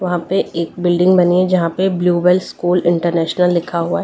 वहां पे एक बिल्डिंग बनी हैजहां पे ब्लूबेल स्कूल इंटरनेशनल लिखा हुआ --